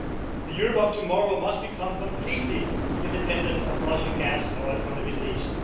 The Europe of tomorrow must become completely independent of Russian gas and oil from the Middle East.